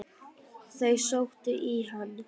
Þau sóttu í hann.